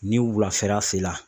Ni wulafɛla se la